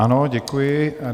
Ano, děkuji.